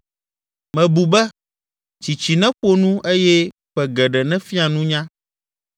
Mebu be, ‘Tsitsi neƒo nu eye ƒe geɖe nefia nunya.’